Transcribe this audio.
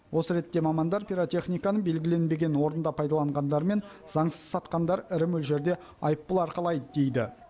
осы ретте мамандар пиротехниканы белгіленбеген орында пайдаланғандар мен заңсыз сатқандар ірі мөлшерде айыппұл арқалайды дейді